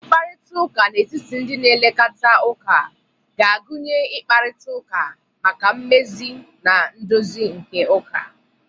Mkparịta ụka n'etiti ndi na elekata uka ga-agụnye ịkparịta ụka maka mmezi na ndozi nke ụka